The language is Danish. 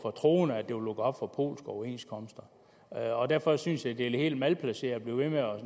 troende at det vil lukke op for polske overenskomster derfor synes jeg at det er helt malplaceret at blive ved med at